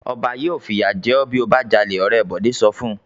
"Ọba yóò fìyà jẹ ọ́ bí ó bá jalè!" Ọ̀rẹ́ Bọ̀dé sọ fún un.